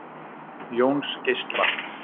Jónsgeisla